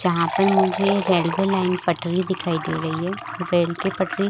जहाँ पर मुझे रेलवे लाइन पटरी दिखाई दे रही है रेल की पटरी--